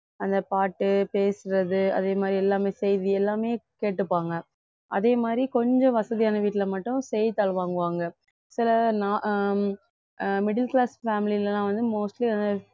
அந்த பாட்டு பேசுறது அதே மாதிரி எல்லாமே செய்தி எல்லாமே கேட்டுப்பாங்க அதே மாதிரி கொஞ்சம் வசதியான வீட்டுல மட்டும் செய்தித்தாள் வாங்குவாங்க சில அஹ் அஹ் middle class family ல எல்லாம் வந்து mostly